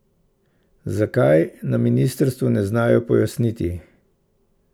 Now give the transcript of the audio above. Zakaj, na ministrstvu ne znajo pojasniti.